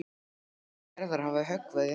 Veikindi Gerðar hafa höggvið í hann.